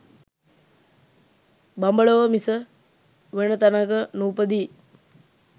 බඹලොව මිස වෙන තැනක නූපදියි.